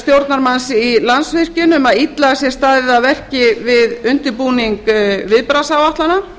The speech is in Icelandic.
stjórnarmanns í landsvirkjun um að illa sé staðið að verki við undirbúning viðbragðsáætlana